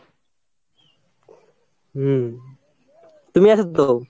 হম্ম তুমি আছো তো।